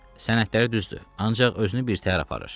Sənədləri düzdür, ancaq özünü birtəhər aparır.